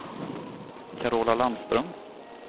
Carola Landström